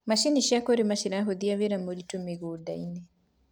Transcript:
macinĩ cia kurima ciranyihia wira muritu mĩgũnda-inĩ